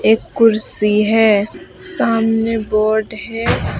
एक कुर्सी है सामने बोर्ड है।